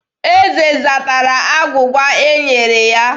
Eze zatara agwụgwa e nyere ya.